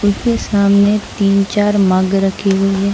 उसके सामने तीन- चार मग रखे हुई हैं।